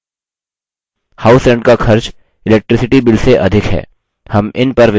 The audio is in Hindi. house rent का खर्च electricity bill से अधिक है